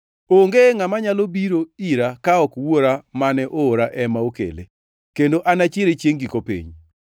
Onge ngʼama nyalo biro ira ka ok Wuora mane oora ema okele, kendo anachiere chiengʼ giko piny.